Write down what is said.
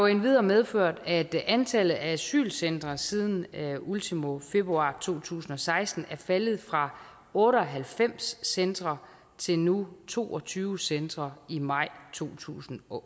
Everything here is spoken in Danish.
endvidere medført at antallet af asylcentre siden ultimo februar to tusind og seksten er faldet fra otte og halvfems centre til nu to og tyve centre i maj to tusind og